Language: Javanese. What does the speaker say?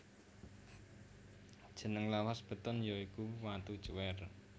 Jeneng lawas beton ya iku watu cuwèr